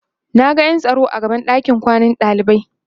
Naga ƴan tsaro a gaban ɗakin kwanan ɗalibai